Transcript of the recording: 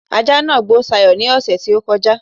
ajá nàá gbó Sayo ní ọ̀ṣẹ̀ tí ó kọjá